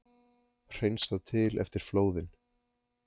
Hreinsað til eftir flóðin